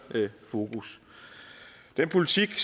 fokus den politik